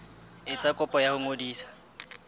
etsa kopo ya ho ngodisa